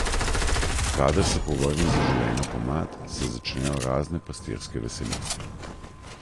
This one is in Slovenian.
Kadar se povrne zaželena pomlad, se začnejo razne pastirske veselice.